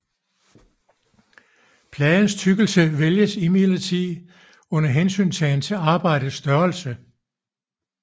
Pladens tykkelse vælges imidlertid under hensyntagen til arbejdets størrelse